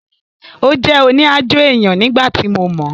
Ó jẹ́ òní-aájò èèyàn nígbà tí mo mọ̀ọ́